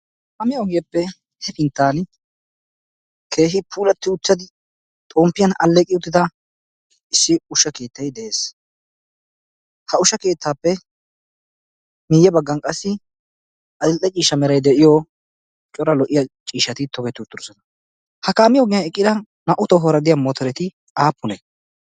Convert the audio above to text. haami oogeeppe hefinttan keehi puulatti uchchadi xomppiyan alleqi uttida issi ushsha keettai de'ees. ha usha keettaappe miiyye baggan qassi adil"e ciishsha meray de'iyo cora lo"iya ciishati togetti uttidosona. ha kaamiyoogiyan eqqida naa"u tohuwaaradiya mootoreti aappune?